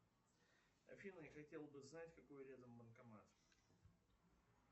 афина я хотел бы знать какой рядом банкомат